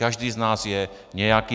Každý z nás je nějaký.